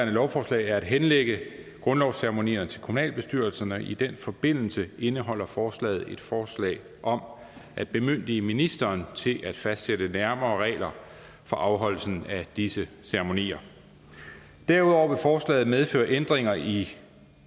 lovforslag er at henlægge grundlovsceremonierne til kommunalbestyrelserne og i den forbindelse indeholder forslaget et forslag om at bemyndige ministeren til at fastsætte nærmere regler for afholdelse af disse ceremonier derudover vil forslaget medføre ændringer i